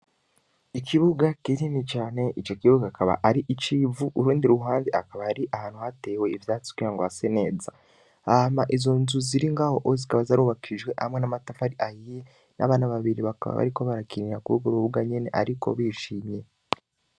Ikibuga kinyini cane ico kibuga kaba ari icivu urundi ruhande akaba ari ahantu hatewe ivyatsi kwira ngo hase neza ahama izo nzu ziri ngaho ozikaba zarubakijwe hamwe n'amatafa ari ayiye n'abana babiri bakaba bariko barakinira kubugurubwa nyene, ariko bishimye.